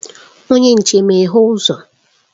Onye nche, meghee uzo!